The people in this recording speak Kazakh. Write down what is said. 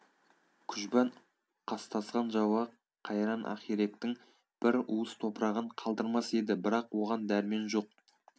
күжбан қастасқан жауға қайран ақиректің бір уыс топырағын қалдырмас еді бірақ оған дәрмен жоқ